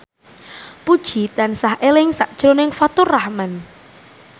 Puji tansah eling sakjroning Faturrahman